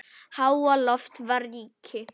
Háaloft var ríki